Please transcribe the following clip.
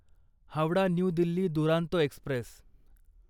Howrah new Delhi Duronto Express